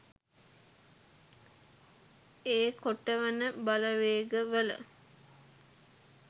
ඒ කොටවන බලවේග වල